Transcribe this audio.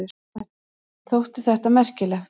Þótti þetta merkilegt.